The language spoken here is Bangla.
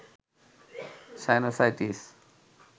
সাইনোসাইটিস